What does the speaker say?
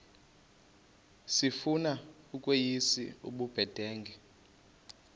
sifuna ukweyis ubudenge